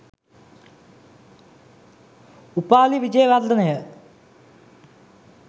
උපාලි විජේවර්ධන ය